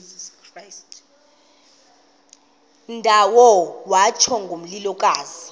ndawo kwatsho ngomlilokazi